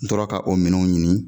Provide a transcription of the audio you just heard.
N tora ka o minɛnw ɲini